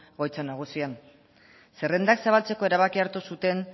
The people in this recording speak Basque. egoitza nagusian zerrendak zabaltzeko erabakia hartu zuten